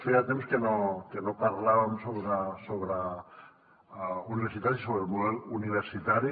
feia temps que no parlàvem sobre universitats i sobre el model universitari